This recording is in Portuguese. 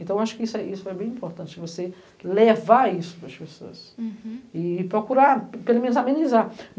Então, eu acho que isso é isso é bem importante, você levar isso para as pessoas, uhum, e procurar pelo menos amenizar.